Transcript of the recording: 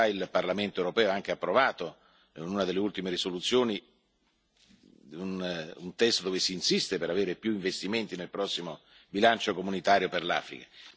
Come Lei sa, il Parlamento europeo ha anche approvato, in una delle ultime risoluzioni, un testo dove si insiste per avere più investimenti nel prossimo bilancio comunitario per l'Africa.